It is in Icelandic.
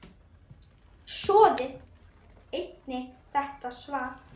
Skoðið einnig þetta svar